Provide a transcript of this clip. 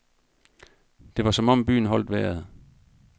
Det var som om byen holdt vejret.